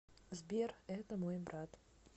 сбер это мой брат